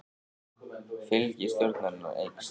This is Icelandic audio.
Fylgi stjórnarinnar eykst